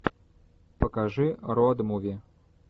покажи роуд муви